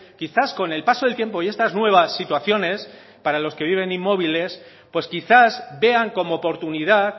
quizás con el paso del tiempo y estas nuevas situaciones para los que viven inmóviles pues quizás vean como oportunidad